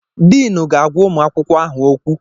Diinu na-agwa ụmụ akwụkwọ ahụ okwu.